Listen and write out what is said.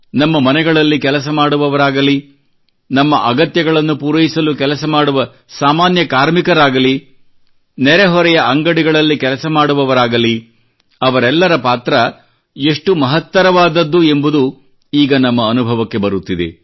ನಮ್ಮ ಮನೆಗಳಲ್ಲಿ ಕೆಲಸ ಮಾಡುವವರಾಗಲಿ ನಮ್ಮ ಅಗತ್ಯಗಳನ್ನು ಪೂರೈಸಲು ಕೆಲಸ ಮಾಡುವ ಸಾಮಾನ್ಯ ಕಾರ್ಮಿಕರಾಗಲಿ ನೆರೆಹೊರೆಯ ಅಂಗಡಿಗಳಲ್ಲಿ ಕೆಲಸ ಮಾಡುವವರಾಗಲಿ ಅವರೆಲ್ಲರ ಪಾತ್ರ ಎಷ್ಟು ಮಹತ್ತರವಾದದ್ದು ಎಂಬುದು ಈಗ ನಮ್ಮ ಅನುಭವಕ್ಕೆ ಬರುತ್ತಿದೆ